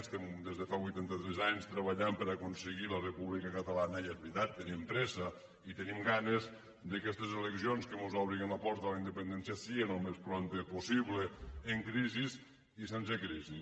estem des de fa vuitanta tres anys treballant per aconseguir la república catalana i és veritat tenim pressa i tenim ganes d’aquestes eleccions que mos obrin la porta a la independència sí al més prompte possible amb crisi i sense crisi